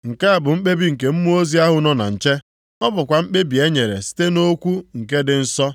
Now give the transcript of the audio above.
“ ‘Nke a bụ mkpebi nke mmụọ ozi ahụ nọ na nche. Ọ bụkwa mkpebi e nyere site nʼokwu nke dị nsọ,